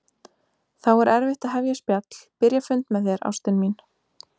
Þá er erfitt að hefja spjall, byrja fund með þér, ástin mín.